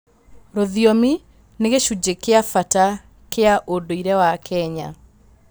Rũthiomi nĩ gĩcunjĩ kĩa bata kĩa ũndũire wa Kenya.